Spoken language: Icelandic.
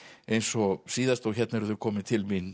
eins og síðast hérna eru þau komin